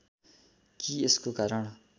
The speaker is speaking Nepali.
कि यसको कारण